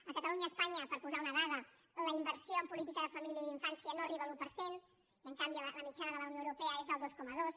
a catalunya i a espanya per posar una dada la inversió en política de família i d’infància no arriba a l’un per cent i en canvi la mitjana de la unió europea és del dos coma dos